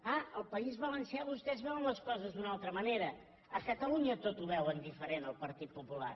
ah al país valencià vostès veuen les coses d’una altra manera a catalu·nya tot ho veuen diferent el partit popular